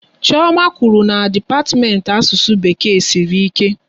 Chioma kwụrụ na dipatiment Asụsụ Bekee sịrị ike